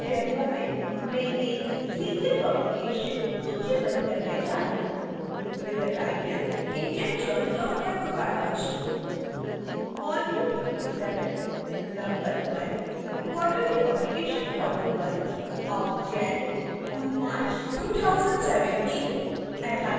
इस डेमो में मैं एक serial publication सूचीबद्ध करने जा रही हूं